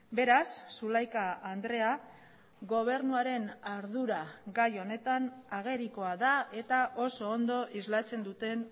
beraz zulaika andrea gobernuaren ardura gai honetan agerikoa da eta oso ondo islatzen duten